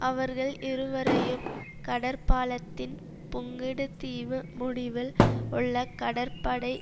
அவர்கள் இருவரையும் கடற்பாலத்தின் புங்குடுதீவு முடிவில் உள்ள கடற்படை